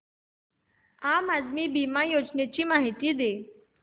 आम आदमी बिमा योजने ची माहिती दे